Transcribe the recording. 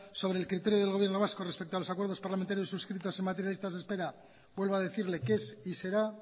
sobre el criterio del gobierno vasco respecto a los acuerdos parlamentarios suscritos en materia de listas de espera vuelvo a decirle que es y será